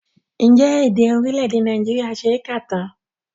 Ǹjẹ́ èdè orílẹ̀èdè Nàìjíríà ṣe é kà tán?